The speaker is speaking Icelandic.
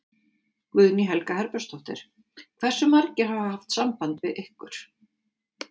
Guðný Helga Herbertsdóttir: Hversu margir hafa haft samband við ykkur?